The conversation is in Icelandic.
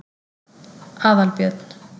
Aðalbjörn